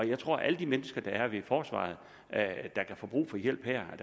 jeg tror at alle de mennesker der er ved forsvaret der kan få brug for hjælp